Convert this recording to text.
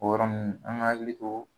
O yɔrɔ ninnu an k'a hakili to